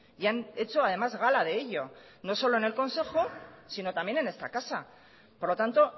y han hecho además gala de ello no solo en el consejo sino también en esta casa por lo tanto